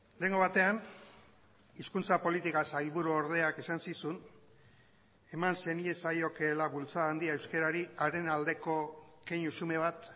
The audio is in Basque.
lehengo batean hizkuntza politika sailburu ordeak esan zizun eman zeniezaiokeela bultzada handia euskarari haren aldeko keinu xume bat